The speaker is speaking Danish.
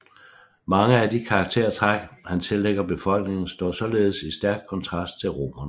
Mange af de karaktértræk han tillægger befolkningen står således i stæk kontrast til romernes